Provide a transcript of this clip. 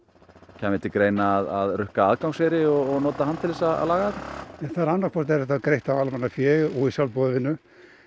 kæmi til greina að rukka aðgangseyri og nota hann til þess að laga þetta annaðhvort er þetta greitt af almannafé og í sjálfboðavinnu